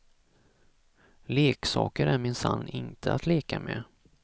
Leksaker är minsann inte att leka med.